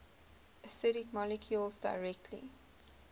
acidic molecules directly